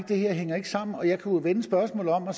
det her hænger sammen jeg kunne jo vende spørgsmålet om og